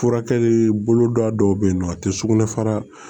Furakɛli boloda dɔw bɛ yen nɔ a tɛ sugunɛ fara